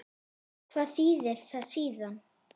Hvað þýðir það síðan?